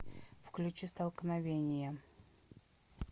включи столкновение